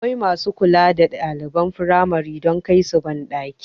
Akwai masu kula da ɗaliban firamare don kaisu banɗaki